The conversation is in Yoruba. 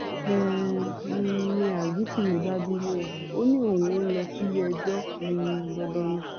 um n ní azikiwe bá bínú o ò ní òún ní lọ síléẹjọ um dandan ni